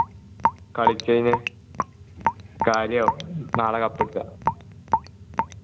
കളിച്ചു കഴിഞ്ഞ് കാര്യവും നാളെ cup അടിച്ച